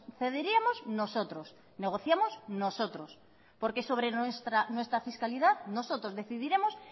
cederíamos nosotros negociamos nosotros porque sobre nuestra fiscalidad nosotros decidiremos